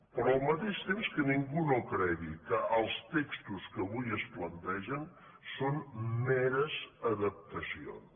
però al mateix temps que ningú no cregui que els tex·tos que avui es plantegen són meres adaptacions